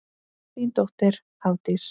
Þín dóttir, Hafdís.